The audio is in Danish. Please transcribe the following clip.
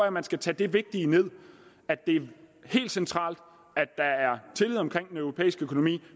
at man skal tage det vigtige med at det er helt centralt at der er tillid omkring den europæiske økonomi